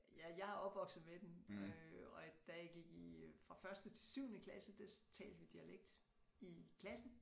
Ja jeg er opvokset med den øh og da jeg gik i fra første til syvende klasse der talte vi dialekt i klassen